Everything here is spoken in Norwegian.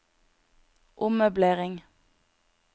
ommøblering